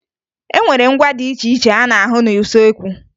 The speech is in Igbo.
E nwere ngwa dị iche iche a na-ahụ n'usoekwu